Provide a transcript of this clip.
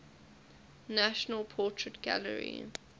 national portrait gallery